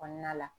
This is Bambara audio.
Kɔnɔna la